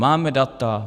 Máme data?